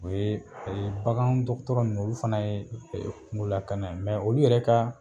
O ye, o ye bakan dɔgɔtɔrɔ nunnu, olu fana ye kunko lakana ye . olu yɛrɛ ka